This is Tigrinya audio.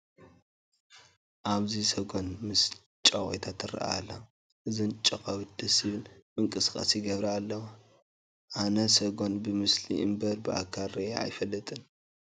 ኣብዚ ሰጐን ምስ ጨቓዊታ ትርአ ኣላ፡፡ እዘን ጨቓዊት ደስ ዝብል ምንቅስቓስ ይገብራ ኣለዋ፡፡ ኣነ ሰጐን ብምስሊ እምበር ብኣካል ሪአ ኣይፈልጥን፡፡